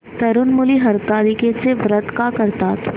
तरुण मुली हरतालिकेचं व्रत का करतात